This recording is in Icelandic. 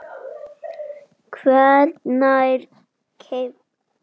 hvenær keypt?